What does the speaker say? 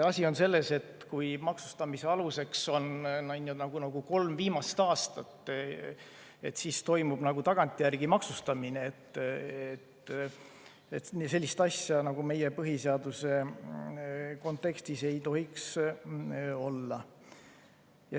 Asi on selles, et kui maksustamise aluseks on kolm viimast aastat, siis toimub nagu tagantjärele maksustamine ja sellist asja meie põhiseaduse kontekstis ei tohiks olla.